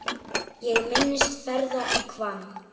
Ég minnist ferða í Hvamm.